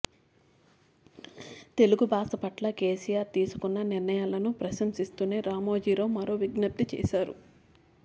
తెలుగు భాష పట్ల కేసీఆర్ తీసుకున్న నిర్ణయాలను ప్రశంసిస్తూనే రామోజీ రావు మరో విజ్ఞప్తి చేశారు